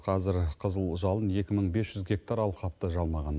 қазір қызыл жалын екі мың бес жүз гектар алқапты жалмаған